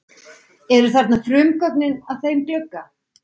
Eru þarna frumgögnin að þeim glugga.